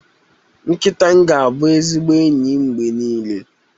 Nkịta m ga-abụ ezigbo enyi m mgbe niile